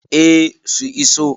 eh su iso